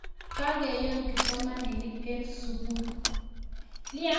kakeyoon kipsomaninik eng sukul